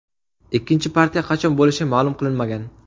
Ikkinchi partiya qachon bo‘lishi ma’lum qilinmagan.